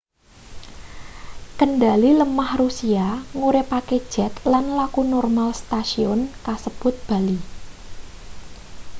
kendhali lemah rusia nguripake jet lan laku normal setasiyun kasebut bali